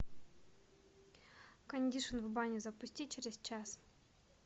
кондишн в бане запусти через час